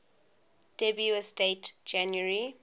dubious date january